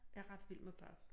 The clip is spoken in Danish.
Jeg ret vild med børn